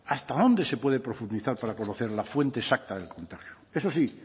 hasta dónde se puede profundizar para conocer la fuente exacta del contagio eso sí